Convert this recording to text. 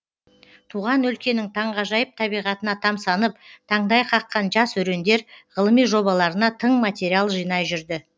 туған өлкенің таңғажайып табиғатына тамсанып таңдай қаққан жас өрендер ғылыми жобаларына тың материал жинай жүрді